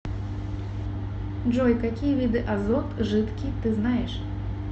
джой какие виды азот жидкий ты знаешь